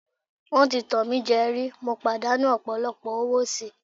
Wọ́n ti tàn mí jẹ rí, mo pàdánù ọ̀pọ̀lọpọ̀ owó síi.